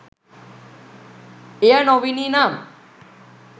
එය නොවිණි නම්,